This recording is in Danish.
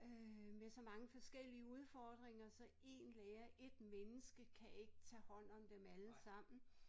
Øh med så mange forskellige udfordringer så én lærer ét menneske kan ikke tage hånd om dem alle sammen